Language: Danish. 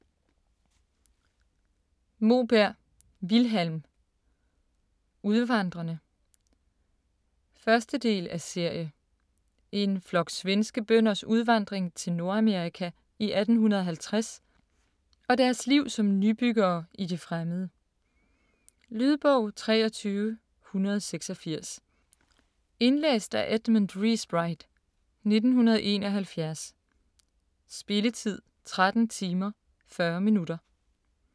Moberg, Vilhelm: Udvandrerne 1. del af serie. En flok svenske bønders udvandring til Nordamerika i 1850 og deres liv som nybyggere i det fremmede. Lydbog 23186 Indlæst af Edmund Riighsbright, 1971. Spilletid: 13 timer, 40 minutter.